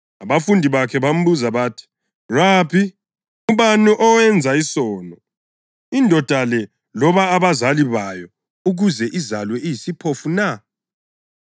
Abafundi bakhe bambuza bathi, “Rabi, ngubani owenza isono, indoda le loba abazali bayo ukuze izalwe iyisiphofu na?”